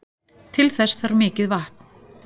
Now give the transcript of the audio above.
Til þess þarf mikið vatn.